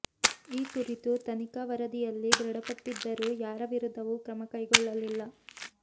ಈ ಕುರಿತು ತನಿಖಾ ವರದಿಯಲ್ಲಿ ದೃಢಪಟ್ಟಿದ್ದರೂ ಯಾರ ವಿರುದ್ಧವೂ ಕ್ರಮ ಕೈಗೊಳ್ಳಲಿಲ್ಲ